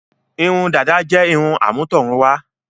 Irun dàda jẹ́ irun àmútọ̀runwá.